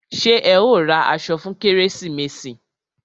Ṣé ẹ ó ra aṣọ fún kérésìmesì?